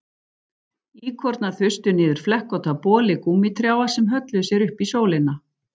Íkornar þustu niður flekkótta boli gúmmítrjáa sem hölluðu sér upp í sólina